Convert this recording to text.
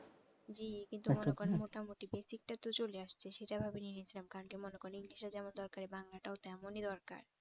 জী কিন্তু মোটামুটি basic টা তো চলে আসছে সেটা ভেবে নিয়ে নিছিলাম কারণ কি মনে করেন english ও যেমন দরকারি বাংলাটাও তেমনই দরকার